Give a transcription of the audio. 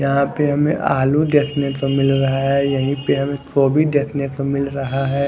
यहां पे हमें आलू देखने को मिल रहा है यहीं पे हमें गोभी देखने को मिल रहा है।